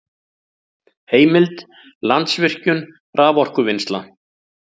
Heimild: Landsvirkjun- raforkuvinnsla